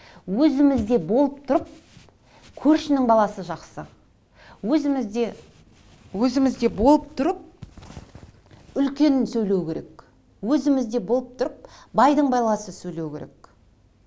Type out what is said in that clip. өзімізде болып тұрып көршінің баласы жақсы өзімізде өзімізде болып тұрып үлкен сөйлеу керек өзімізде болып тұрып байдың баласы сөйлеу керек